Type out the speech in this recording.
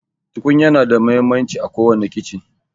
Tukunya na da muhimmanci à kowani kichen.